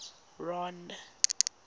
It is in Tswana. ron